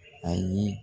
Ayi